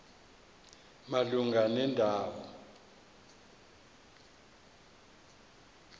malunga nenda wo